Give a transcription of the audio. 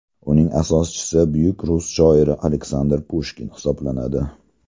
Uning asoschisi buyuk rus shoiri Aleksandr Pushkin hisoblanadi.